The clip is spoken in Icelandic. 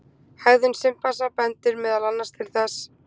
hegðun simpansa bendir meðal annars til þess